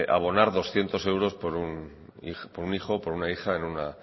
abonar doscientos euros por un hijo o por una hija en una